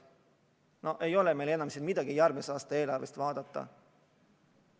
No ei ole meil siin midagi järgmise aasta eelarvet vaadata.